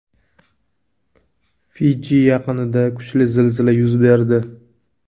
Fiji yaqinida kuchli zilzila yuz berdi.